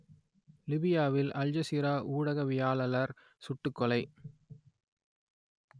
லிபியாவில் அல்ஜசீரா ஊடகவியலாளர் சுட்டுக் கொலை